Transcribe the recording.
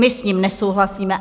My s ním nesouhlasíme.